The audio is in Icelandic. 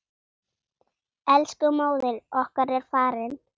Elsku móðir okkar er farin.